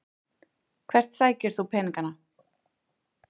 Hvert sækir þú peningana?